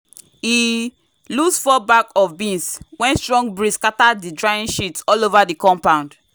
e lose four bag of beans when strong breeze scatter the drying sheet all over the compound.